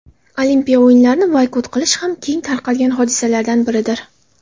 Olimpiya o‘yinlarini boykot qilish ham keng tarqalgan hodisalardan biridir.